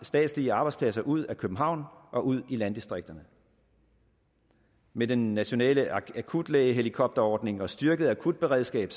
statslige arbejdspladser ud af københavn og ud i landdistrikterne med den nationale akutlægehelikopterordning og et styrket akutberedskab